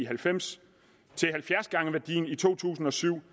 halvfems til halvfjerds gange værdien i to tusind og syv